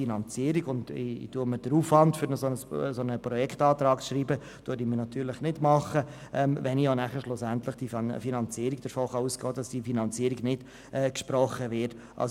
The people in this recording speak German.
Ich würde mir den Aufwand sparen, einen solchen Projektantrag zu verfassen, wenn ich davon ausgehen müsste, dass die Mittel nicht gesprochen werden.